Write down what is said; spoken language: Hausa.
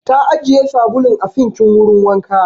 Ta ajiye sabulu a sinkin wurin wanka.